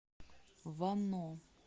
вано